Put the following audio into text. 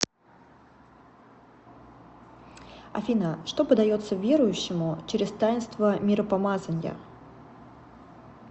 афина что подается верующему через таинство миропомазания